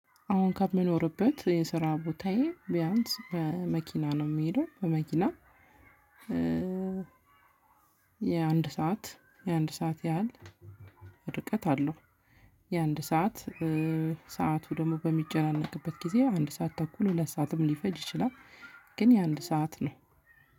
አሁን ከምኖርበት የስራ ቦታዬ ቢያንስ በመኪና ነው የምሄደው በመኪና የአንድ ሰዓት የአንድ ሰዓት ያህል ርቀት አለው። የአንድ ሰዓት ሰዓቱ ደግሞ በሚጨናነቅበት ጊዜ አንድ ሰዓት ተኩል ሁለት ሰዓትም ሊፈጅ ይችላል። ግን የአንድ ሰዓት ነው